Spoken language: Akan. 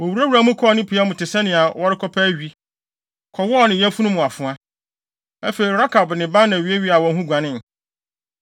Wowuraa mu kɔɔ ne pia mu te sɛnea wɔrekɔpɛ awi, kɔwɔɔ ne yafunu mu afoa. Afei Rekab ne Baana wiawiaa wɔn ho guanee.